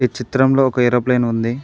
ఈ చిత్రంలో ఒక ఏరోప్లేన్ ఉంది.